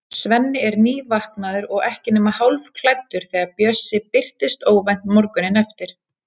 Svenni er nývaknaður og ekki nema hálfklæddur þegar Bjössi birtist óvænt morguninn eftir.